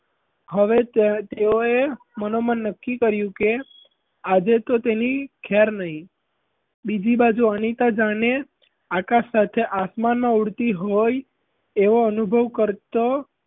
હવે તેઓ એ મનોમન નક્કી કર્યું કે આજે તો તેની ખેર નહીં બીજી બાજુ અનિતા જાણે આકાશ સાથે આસમાનમાં ઊડતી હોય એવો અનુભવ કરતો,